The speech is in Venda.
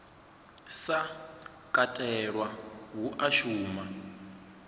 sa katelwa hu a shuma